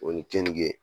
O ni keninke